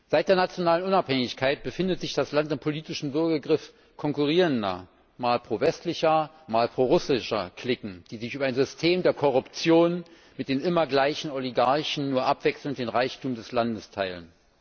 Seit der nationalen Unabhängigkeit befindet sich das Land im politischen Würgegriff konkurrierender mal prowestlicher, mal prorussischer Cliquen, die sich über ein System der Korruption mit den immer gleichen Oligarchen abwechselnd den Reichtum des Landes teilen.